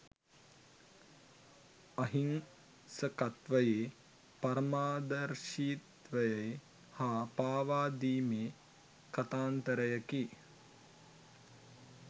අහිංසකත්වයේ පරමාදර්ශීත්වයේ හා පාවාදීමේ කතාන්තරයකි.